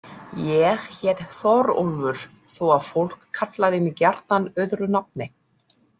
Ég hét Þórólfur þó að fólk kallaði mig gjarnan öðru nafni.